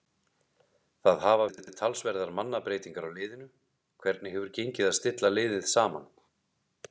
Það hafa verið talsverðar mannabreytingar á liðinu, hvernig hefur gengið að stilla liðið saman?